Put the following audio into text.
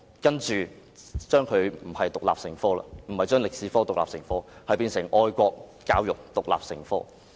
將中史獨立成科，其後恐怕變成愛國教育獨立成科。